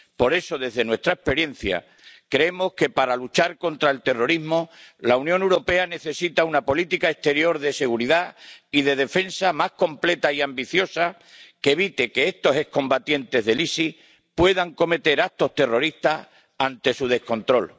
Por eso, desde nuestra experiencia, creemos que, para luchar contra el terrorismo, la Unión Europea necesita una política exterior de seguridad y de defensa más completa y ambiciosa que evite que estos excombatientes del ISIS puedan cometer actos terroristas ante su descontrol.